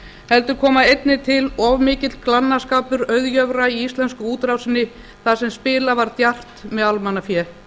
heldur koma einnig til of mikill glannaskapur auðjöfra í íslensku útrásinni þar sem spilað var djarft með almannafé